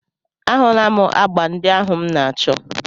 A hụla m agbà ndị ahụ m na-achọ